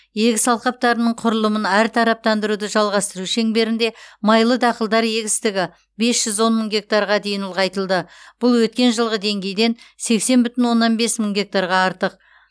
егіс алқаптарының құрылымын әртараптандыруды жалғастыру шеңберінде майлы дақылдар егістігі бес жүз он мың гектарға дейін ұлғайтылды бұл өткен жылғы деңгейден сексен бүтін оннан бес мың гектарға артық